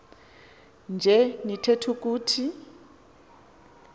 nje nitheth ukuthi